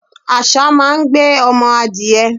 àṣá máa ń gbé ọmọ adiẹ